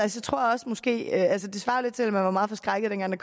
det svarer lidt til at man var meget forskrækket dengang der